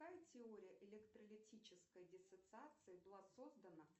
какая теория электролитической диссоциации была создана